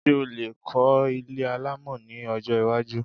Ṣé o lè kọ́ ilé alámọ̀ ní ọjọ́ iwájú